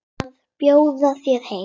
Að bjóða þér heim.